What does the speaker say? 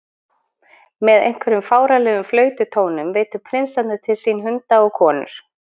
Með einhverjum fáránlegum flaututónum veiddu prinsarnir til sín hunda og konur.